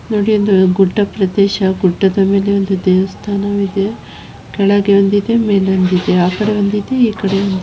ಇದು ಗುಡ್ಡ ಪ್ರದೇಶ ಗುಡ್ಡಾದ ಮೇಲೆ ಒಂದು ದೇವಸ್ಥಾನವಿದೆ ಕೆಳಗಡೆ ಒಂದಿದೆ ಮೇಲೊಂದಿದೆ ಆ ಕಡೆ ಒಂದಿದೆ ಈ ಕಡೆ ಒಂದಿದೆ.